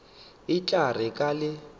e tla re ka le